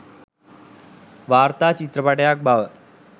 වාර්තා චිත්‍රපටයක් බව